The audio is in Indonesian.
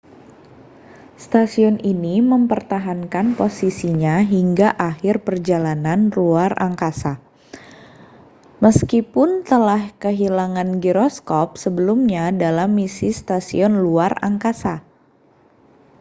stasiun ini mempertahankan posisinya hingga akhir perjalanan ruang angkasa meskipun telah kehilangan giroskop sebelumnya dalam misi stasiun luar angkasa